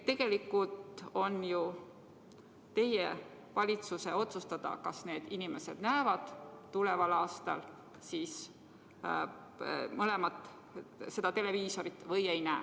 Tegelikult on ju teie valitsuse otsustada, kas need inimesed näevad tuleval aastal neid teleprogramme või ei näe.